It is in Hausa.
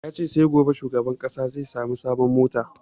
Ya ce sai gobe shugaban ƙasa zai sami sabon mota